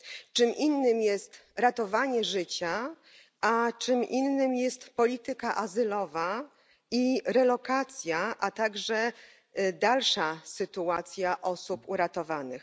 Czym innym jest ratowanie życia, a czym innym jest polityka azylowa i relokacja, a także dalsza sytuacja osób uratowanych.